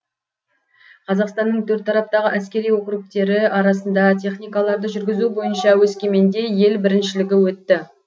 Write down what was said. қазақстанның төрт тараптағы әскери округтері арасында техникаларды жүргізу бойынша өскеменде ел біріншілігі өтті